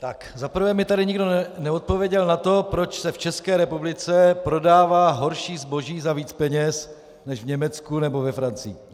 Za prvé mi tady nikdo neodpověděl na to, proč se v České republice prodává horší zboží za víc peněz než v Německu nebo ve Francii.